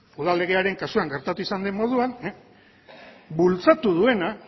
udal legearen kasuan gertatu izan den moduan bultzatu duena